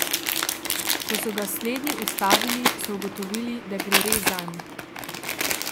Ko so ga slednji ustavili so ugotovili, da gre res zanj.